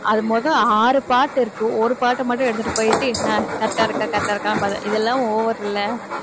அது முதல் ஆறு part இருக்கு ஒரு part அ மட்டும் எடுத்துட்டு போயிட்டு அஹ் correct ஆ இருக்கா correct ஆ இருக்கான்னு பார்த்தா இதெல்லாம் over இல்ல